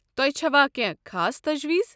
تۄہہِ چھوا کٮ۪نٛہہ خاص تجویز؟